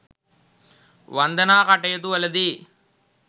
වන්දනා කටයුතු වලදී